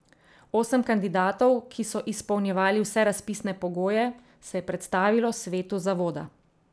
Osem kandidatov, ki so izpolnjevali vse razpisne pogoje, se je predstavilo svetu zavoda.